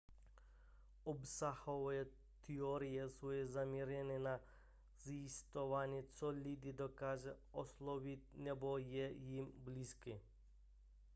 obsahové teorie jsou zaměřené na zjišťování co lidi dokáže oslovit nebo je jim blízké